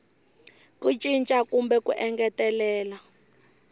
ku cinca kumbe ku engetelela